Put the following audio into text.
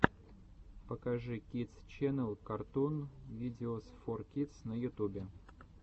покажи кидс ченнел картун видеос фор кидс на ютубе